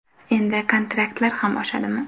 Endi kontraktlar ham oshadimi?.